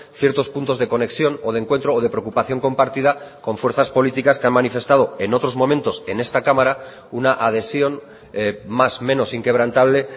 ciertos puntos de conexión o de encuentro o de preocupación compartida con fuerzas políticas que han manifestado en otros momentos en esta cámara una adhesión más menos inquebrantable